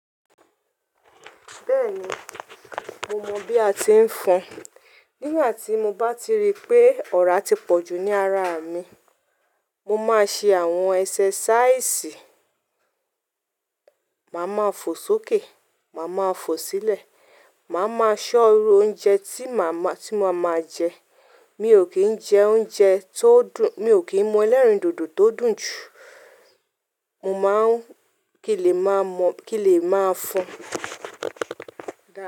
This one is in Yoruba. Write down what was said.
Bẹ́ẹ̀ni, mo mọ̀ bí a ti ń fọ́n. N gbà tí mo bá ti rí pé ọ̀rá ti pọ̀ jù ní ara mi, mo máa ṣe àwọn ẹsẹ́sáísì, màá ma fò sókè, màá ma fò sílẹ̀, màá ma ṣọ́ uru oúnjẹ tí ma máa ti ma máa jẹ, mi ò kí ń jẹ oúnjẹ tó dùn, mi ò kí ń mu ẹlẹ́rìndòdò tó dùn jù, mo máa ń kí lè máa mọ́, kí lè máa fọ́n.